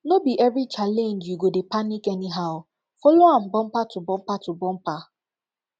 no bi evri challenge yu go dey panic anyhow follow am bumper to bumper to bumper